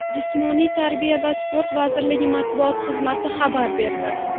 Jismoniy tarbiya va sport vazirligi matbuot xizmati xabar berdi.